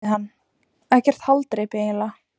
spurði hann: Ekkert haldreipi eiginlega.